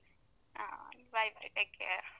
ಹಾ, bye bye take care.